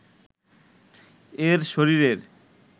এর শরীরের